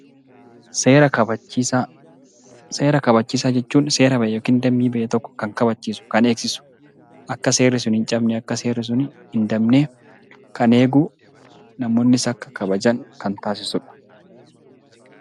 Seera kabachiisaa Seera kabachiisaa jechuun seera bahe tokko yookaan dambii bahe tokko kan kabachiisu, kan eegsisu akka seerri sun hin cabne, akka seerri sun hin dabne kan eegu, namoonnis akka eegan kan taasisudha.